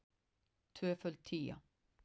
Tvöföld tía.